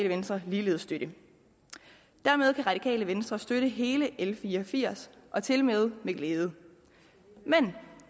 venstre ligeledes støtte dermed kan radikale venstre støtte hele l fire og firs og tilmed med glæde men